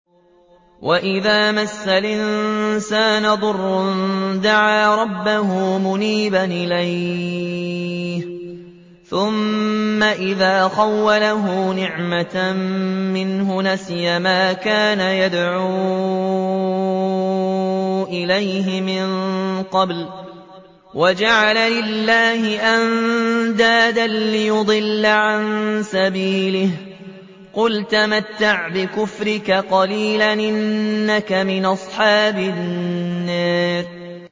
۞ وَإِذَا مَسَّ الْإِنسَانَ ضُرٌّ دَعَا رَبَّهُ مُنِيبًا إِلَيْهِ ثُمَّ إِذَا خَوَّلَهُ نِعْمَةً مِّنْهُ نَسِيَ مَا كَانَ يَدْعُو إِلَيْهِ مِن قَبْلُ وَجَعَلَ لِلَّهِ أَندَادًا لِّيُضِلَّ عَن سَبِيلِهِ ۚ قُلْ تَمَتَّعْ بِكُفْرِكَ قَلِيلًا ۖ إِنَّكَ مِنْ أَصْحَابِ النَّارِ